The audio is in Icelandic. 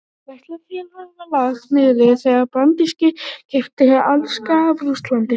Verslunarfélagið var lagt niður þegar Bandaríkin keyptu Alaska af Rússlandi.